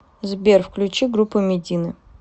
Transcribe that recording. сбер включи группу мединэ